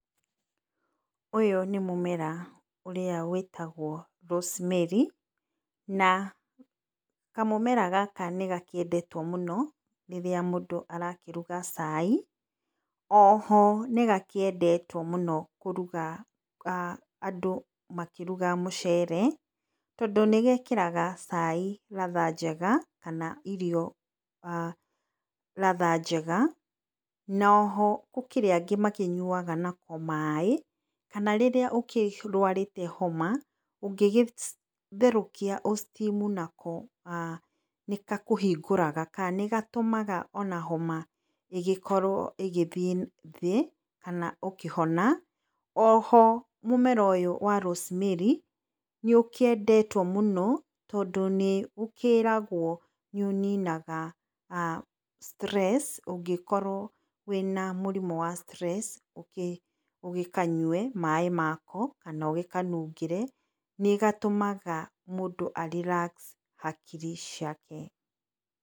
Ũyũ nĩ mũmera ũrĩa wĩtagwo rosemary na kamũmera gaka nĩ gakĩendetwo mũno rĩrĩa mũndũ arakĩruga cai. O ho nĩgakĩendetwo mũno kũruga aah andũ makĩruga mũcere, tondũ nĩgekĩraga cai ladha njega kana irio ladha njega, na o ho gũkĩrĩa angĩ makĩnyuaga nako maĩ, kana rĩrĩa ũkĩrwarĩte homa ũngĩtherũkia ũ steam nako aah nĩgakũhingũraga, kana nĩgatũmaga ona homa ĩgĩkorwo ĩgĩthiĩ thĩ kana ũkĩhona. O ho mũmera ũyũ wa rosemary nĩũkĩendetwo mũno, tondũ nĩgũkĩragwo nĩ ũninaga stress ũngĩkorwo wĩna mũrimũ wa stress, ũgĩkanyue maĩ mako, kana ũgĩkanungĩre nĩ gatũmaga mũndũ a relax hakiri ciake.